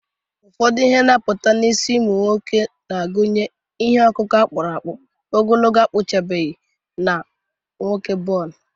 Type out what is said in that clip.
Ụfọdụ ihe na-apụta n’isi ụmụ nwoke na-agụnye ihe ọkụkụ a kpụrụ akpụ, ogologo akpụchabeghị, na nwoke bonu.